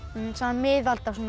miðalda svona